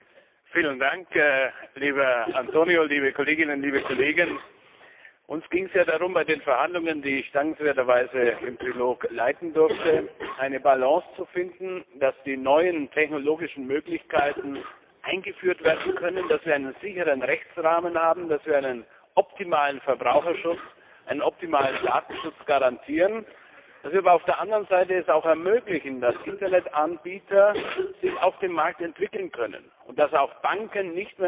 Herr Präsident, liebe Kolleginnen, liebe Kollegen, lieber Antonio! Uns ging es ja darum, bei den Verhandlungen, die ich dankenswerterweise im Trilog leiten durfte, eine Balance zu finden, dass die neuen technologischen Möglichkeiten eingeführt werden können, dass wir einen sicheren Rechtsrahmen haben, dass wir einen optimalen Verbraucherschutz, einen optimalen Datenschutz garantieren, dass wir es aber auf der anderen Seite auch ermöglichen, dass Internetanbieter sich auf dem Markt entwickeln können, und dass auch Banken nicht mehr in die Lage versetzt werden,